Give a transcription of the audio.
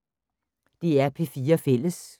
DR P4 Fælles